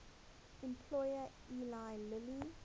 employer eli lilly